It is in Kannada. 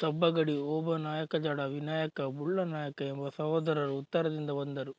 ಸಬ್ಬಗಡಿ ಓಬನಾಯಕಜಡವಿನಾಯಕ ಬುಳ್ಳನಾಯಕ ಎಂಬ ಸಹೋದರರು ಉತ್ತರದಿಂದ ಬಂದರು